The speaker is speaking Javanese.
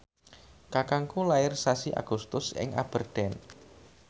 kakangku lair sasi Agustus ing Aberdeen